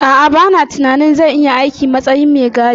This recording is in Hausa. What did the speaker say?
A'a, bana tunanin zan iya aiki a matsayin mai gadi.